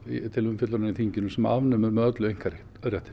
til umfjöllunar í þinginu sem afnemur með öllu einkaréttinn